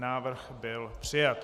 Návrh byl přijat.